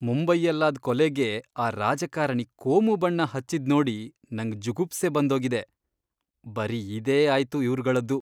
ಮುಂಬೈಯಲ್ಲಾದ್ ಕೊಲೆಗೆ ಆ ರಾಜಕಾರಣಿ ಕೋಮು ಬಣ್ಣ ಹಚ್ಚಿದ್ನೋಡಿ ನಂಗ್ ಜುಗುಪ್ಸೆ ಬಂದೋಗಿದೆ, ಬರೀ ಇದೇ ಆಯ್ತು ಇವ್ರ್ಗಳ್ದು.